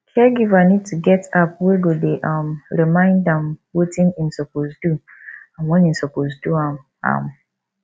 caregiver need to get app wey go dey um remind am wetin im suppose do and when im suppose do am am